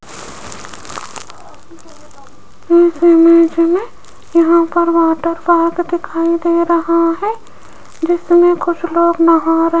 इस इमेज में यहां पर वाटर पार्क दिखाई दे रहा है जिसमें कुछ लोग नहा रहे--